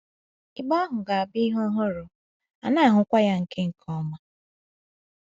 Igbe ahụ ga-abụ ihe ọhụrụ, a na-ahụkwa ya nke nke ọma.